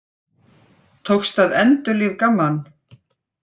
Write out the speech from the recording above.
Tókst að endurlífga mann